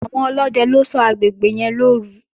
Àwọn ọlódẹ ló ṣọ́ agbègbè yẹn lọ́òru